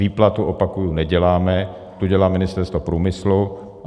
Výplatu, opakuji, neděláme, tu dělá Ministerstvo průmyslu.